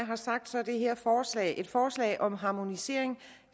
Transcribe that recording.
har sagt er det her forslag et forslag om harmonisering